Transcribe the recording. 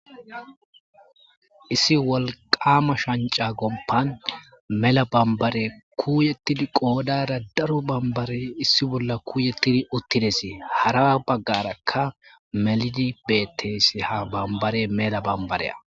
issi wolqama shanca gompan mela bambare kuuyettidi qoodara daro bambare issi bolla kuuyettidi uttidesi hara baggarakka melidi bettesi ha bambare mela bambareya